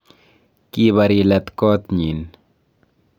kibar ilat koot nyin